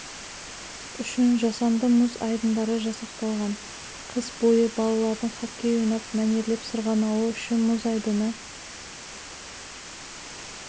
үшін жасанды мұз айдындары жасақталған қыс бойы балалардың хоккей ойнап мәнерлеп сырғанауы үшін мұз айдыны